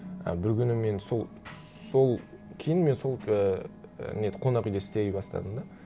і бір күні мен сол сол кейін мен сол ііі неде қонақ үйде істей бастадым да